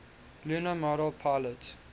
lunar module pilot